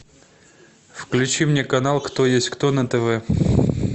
включи мне канал кто есть кто на тв